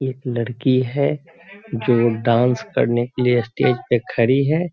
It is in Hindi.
एक लड़की है जो डांस करने के लिए स्टेज पे खड़ी है।